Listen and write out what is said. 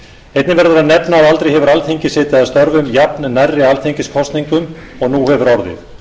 einnig verður að nefna að aldrei hefur alþingi setið að störfum jafnnærri alþingiskosningum og nú hefur orðið